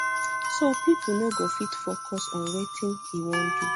so pipo no go fit focus on wetin e wan do